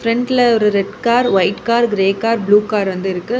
பிரண்ட்ல ஒரு red car white car grey car blue car வந்து இருக்கு.